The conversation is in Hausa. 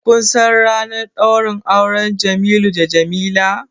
Kun san ranar ɗaurin auren Jamilu da Jamila?